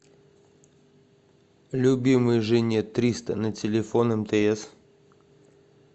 любимой жене триста на телефон мтс